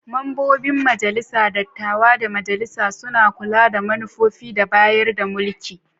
Membobin Majalisar Dattawa da Majalisa suna kula da manufofi da bayar da mulki.